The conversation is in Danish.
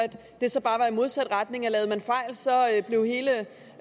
det så bare var i modsat retning altså